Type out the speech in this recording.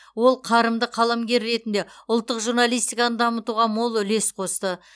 ол қарымды қаламгер ретінде ұлттық журналистиканы дамытуға мол үлес қосты